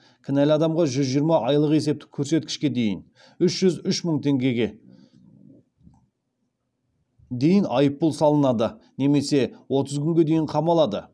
кінәлі адамға жүз жиырма айлық есептік көрсеткішке дейін айыппұл салынады немесе отыз күнге дейін қамалады